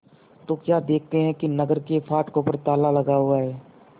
तो क्या देखते हैं कि नगर के फाटकों पर ताला लगा हुआ है